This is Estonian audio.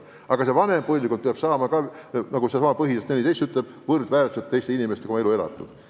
Aga ka vanem põlvkond peab saama, nagu ka põhiseadus ütleb, võrdväärselt teiste inimestega oma elu elatud.